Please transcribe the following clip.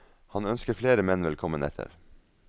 Og han ønsker flere menn velkommen etter.